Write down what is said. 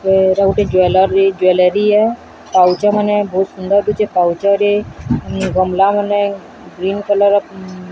ଏଇଟା ଗୋଟେ jewellery jewellery ପାଉଛମାନେ ବହୁତ ସୁନ୍ଦର ଦୁଚେ ପାଉଛରେ ଗମଲା ମାନେ ଗ୍ରୀନ କଲର ।